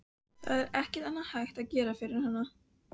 Það er ekkert annað hægt að gera fyrir hana.